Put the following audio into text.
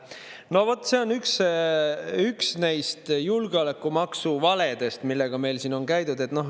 No vot, see on üks neist julgeolekumaksu valedest, millega meil siin on käidud.